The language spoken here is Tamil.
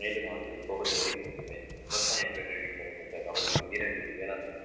மேலும் அவர்களின் கோபத்தை வெளிப்படுத்துவேன் விவசாய பெண்களின் குரல் கொண்ட அவர்களின் வீரர்களின் வேளாண்மையும்